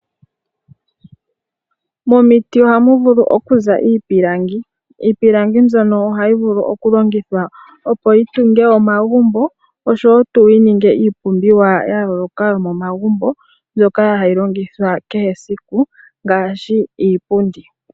Momiti oha mu vulu oku za iipilangi. Iipilangi mbyono oha yi vulu okulongithwa, opo yi tunge omagumbo, osho tuu yi ninge iipumbiwa ya yooloka yomomagumbo, mbyoka ha yi longithwa kehe esiku, ngaashi iipundi.